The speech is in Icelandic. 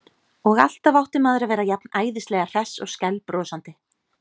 Og alltaf átti maður að vera jafn æðislega hress og skælbrosandi.